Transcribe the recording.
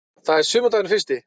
Það er sumardagurinn fyrsti.